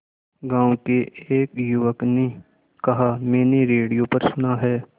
गांव के एक युवक ने कहा मैंने रेडियो पर सुना है